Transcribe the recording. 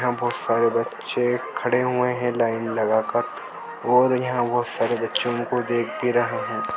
यहाँ बहुत सारे बच्चे खडे हुए है लायन लगा कर और यहा बहुत सारे बच्चो को देख भी रहे है।